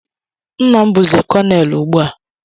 Nna m bụzi konel ugbu a.